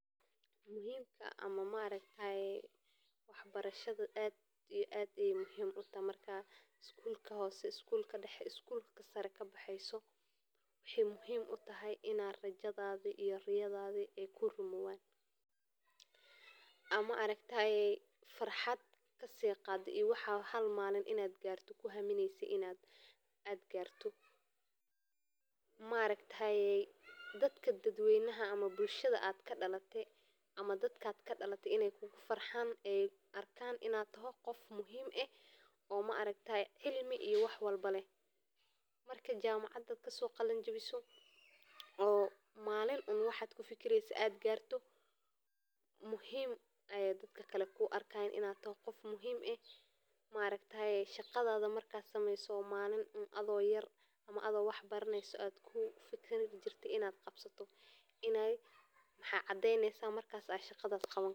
Waxbarashada aad iyo aad ayey muhiim utahay marka skulka sare ama hoose kabexeyso aad ayey muhiim utahay. Ama ey farxad kasoqado waxa halmalin kuhamineyse in ad garto oo dadka kugufarxan oo muhiim ey kuarkan dadka kale sida walidka oo shaqada iyo wixi ad yaranta kuhamini jirte wexwy cadeneysa in ad qawani karto shaqada.